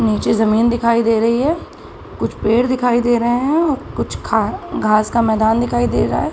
नीचे जमीन दिखाई दे रही है कुछ पेड़ दिखाई दे रहे है और कुछ ख घास का मैदान दिखाई दे रहा है।